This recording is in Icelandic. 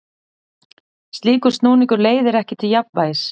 Slíkur snúningur leiðir ekki til jafnvægis.